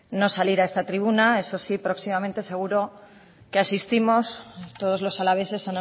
no salir a esta tribuna eso sí próximamente seguro que asistimos todos los alaveses